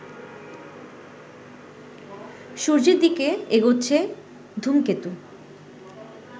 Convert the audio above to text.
সূর্যের দিকে এগোচ্ছে ধূমকেতু